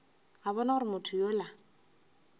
a bona gore motho yola